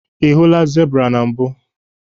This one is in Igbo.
Ị hụla zebra na mbụ